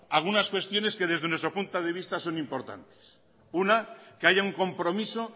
algunas cuestiones que desde nuestro punto de vista son importantes una que haya un compromiso